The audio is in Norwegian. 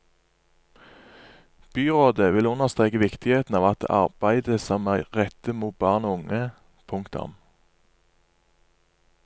Byrådet vil understreke viktigheten av det arbeidet som er rettet mot barn og unge. punktum